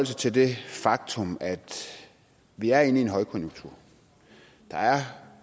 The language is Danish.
sig til det faktum at vi er inde i en højkonjunktur